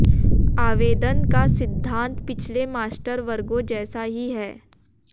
आवेदन का सिद्धांत पिछले मास्टर वर्गों जैसा ही है